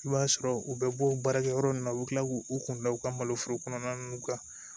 I b'a sɔrɔ u bɛ bɔ baarakɛyɔrɔ ninnu na u bɛ kila k'u kunbɛn u ka maloforo kɔnɔna ninnu ka